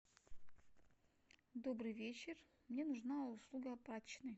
добрый вечер мне нужна услуга прачечной